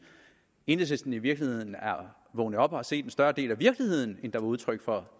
enhedslisten i virkeligheden er vågnet op og har set en større del af virkeligheden end der var udtryk for